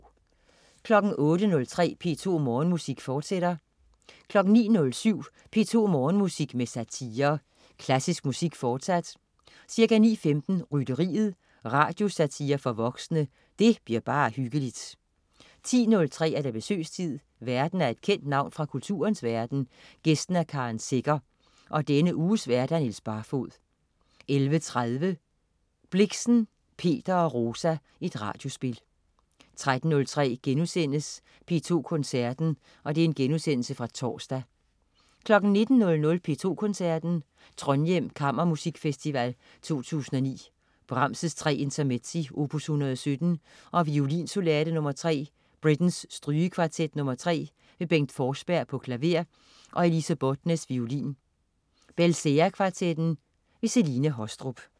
08.03 P2 Morgenmusik, forsat 09.07 P2 Morgenmusik med satire. Klassisk musik, fortsat. Ca. 9.15: Rytteriet. Radiosatire for voksne. Det bliver bare hyggeligt 10.03 Besøgstid. Værten er et kendt navn fra kulturens verden, gæsten er Karen Secher. Denne uges vært: Niels Barfoed 11.30 Blixen: Peter og Rosa. Radiospil 13.03 P2 Koncerten.* Genudsendelse fra torsdag 19.00 P2 Koncerten. Trondhjem Kammermusikfestival 2009. Brahms: Tre Intermezzi, opus 117, og Violinsonate nr. 3. Britten: Strygekvartet nr. 3. Bengt Forsberg, klaver. Elise Båtnes, violin. Belcea Kvartetten. Celine Haastrup